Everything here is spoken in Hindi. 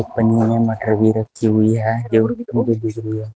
पन्नी मे मटर भी रखी है जो दिख रही है।